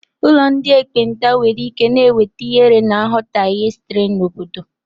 Ụlọ ndị ekpenta nwere ike na-enweta ihere na nghọtahie sitere n'obodo.